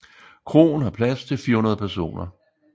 Kroen har plads til 400 personer